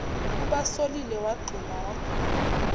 ubasolile wagxuma wagona